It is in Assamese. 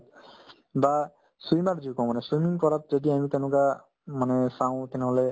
বা swimmer যি কওঁ মানে swimming কৰাত যদি আমি তেনেকুৱা মানে চাও তেনেহ'লে